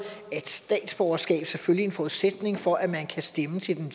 at statsborgerskab selvfølgelig er en forudsætning for at man kan stemme til den